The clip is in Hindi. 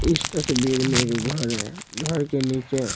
इस तस्वीर में एक घर है घर के नीचे--